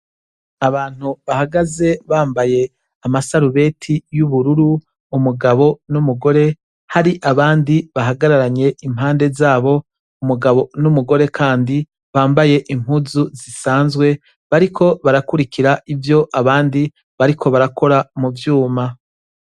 Abantu bahagaze bambaye amasarubeti y'ubururu, umugabo n' umugore hari abandi bahagararanye impande zabo, umugabo n ' umugore kandi bambaye impuzu zisanzwe bariko barakurikira ivyo abandi bariko barakora muvyuma.